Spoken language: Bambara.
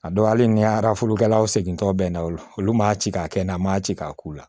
A dɔw hali ni arafalikɛlaw seginnen tɔ bɛnna o olu ma ci k'a kɛ na ma ci k'a k'u la